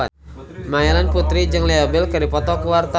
Melanie Putri jeung Leo Bill keur dipoto ku wartawan